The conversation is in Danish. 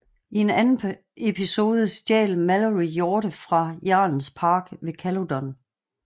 I en anden episode stjal Malory hjorte fra jarlens park ved Caludon